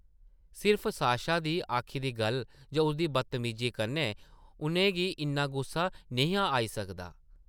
सिर्फ साशा दी आखी दी गल्ल जां उसदी बदतमीजी कन्नै उʼनें गी इन्ना गुस्सा निं हा आई सकदा ।